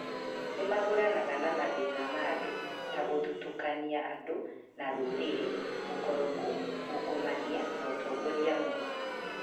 Nĩ mahũranaga na mathĩna ma andũ ta gũthutũkania andũ na rũrĩrĩ, ũkoroku, ungũmania na ũtongoria mũũru.